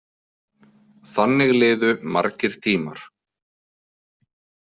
Þannig liðu margir tímar.